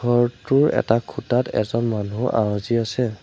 ঘৰটোৰ এটা খুঁটাত এজন মানুহ আউজী আছে।